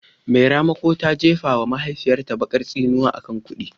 Mai ramako ta jefa wa mahaifiyarta bakar tsinuwa akan kudi